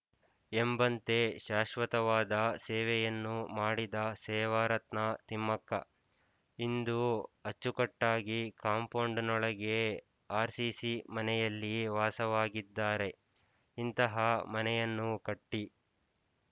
ಎಂಬಂತೆ ಶಾಶ್ವತವಾದ ಸೇವೆಯನ್ನು ಮಾಡಿದ ಸೇವಾರತ್ನ ತಿಮ್ಮಕ್ಕ ಇಂದು ಅಚ್ಚುಕಟ್ಟಾಗಿ ಕಾಂಪೌಂಡಿನೊಳಗೆ ಆರ್ಸಿಸಿ ಮನೆಯಲ್ಲಿ ವಾಸವಾಗಿದ್ದಾರೆ ಇಂತಹ ಮನೆಯನ್ನು ಕಟ್ಟಿ